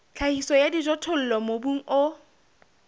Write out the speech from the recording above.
tlhahiso ya dijothollo mobung o